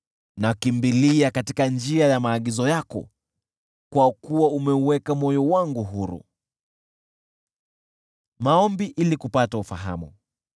Nakimbilia katika njia ya maagizo yako, kwa kuwa umeuweka moyo wangu huru.